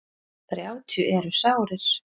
Þrjátíu eru sárir.